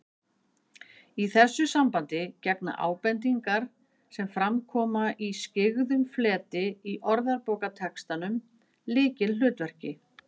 Í þessu sambandi gegna ábendingar, sem fram koma í skyggðum fleti í orðabókartextanum, lykilhlutverki